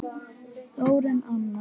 Þórunn Anna.